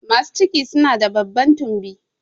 Masu ciki su na da babban tumbi